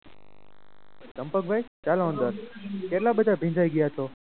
ચંપકભાઈ ચાલો અંદર કેટલા બધા ભીંજાઈ ગયા છો.